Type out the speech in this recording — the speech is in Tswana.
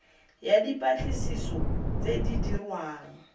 ya dipatlisiso tse di dirwang